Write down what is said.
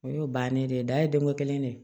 O y'o bannen de ye da ye denko kelen de ye